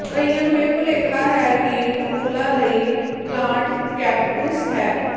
ਕਈਆਂ ਨੂੰ ਇਹ ਭੁਲੇਖਾ ਹੈ ਕਿ ਟੁਕੁਲਾ ਲਈ ਪਲਾਂਟ ਕੈਪਟੂਸ ਹੈ